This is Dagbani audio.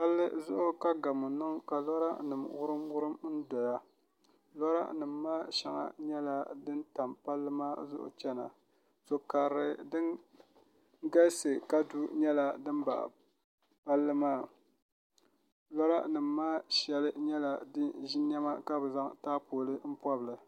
Palli zuɣu ka gamo niŋ ka lora nim wurim wurim doya lora nim maa shɛŋa nyɛla din tam palli maa zuɣu chɛna zo karili din galisi ka du nyɛla din baɣa palli maa lora nim maa shɛli nyɛla din ʒi niɛma ka bi zaŋ taapooli pobili